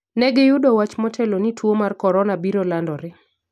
Negi yudo wach motelo ni tuwo mar Korona biro landore